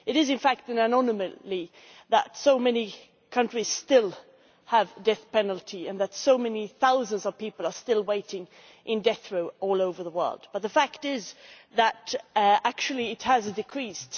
It is in fact an anomaly that so many countries still have the death penalty and that so many thousands of people are still waiting in death row all over the world, but the fact is that it has actually decreased.